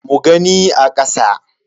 Mu gani a kasa.